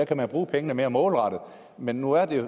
kan bruge pengene mere målrettet men nu er